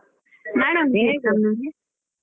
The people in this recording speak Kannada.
ನಾಳೆಯುಂಟಾ .